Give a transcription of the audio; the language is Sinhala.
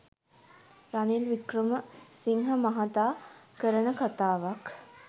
රනිල් වික්‍රම සිංහ මහාතා කරන කතාවක්.